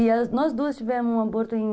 E nós duas tivemos um aborto em...